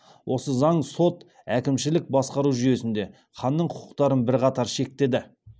осы заң сот әкімшілік басқару жүйесінде ханның құқықтарын бірқатар шектеді